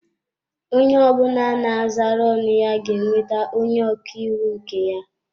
Onye ọ bụla na-azara ọnụ ga-enweta onye ọka iwu nke ya.